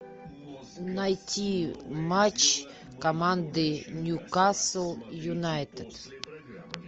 найти матч команды ньюкасл юнайтед